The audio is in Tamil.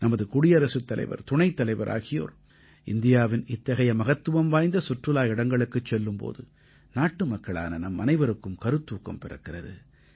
நமது குடியரசுத் தலைவர் துணைத்தலைவர் ஆகியோர் இந்தியாவின் இத்தகைய மகத்துவம் வாய்ந்த சுற்றுலா இடங்களுக்குச் செல்லும் போது நாட்டுமக்களான நம்மனைவருக்கும் கருத்தூக்கம் பிறக்கிறது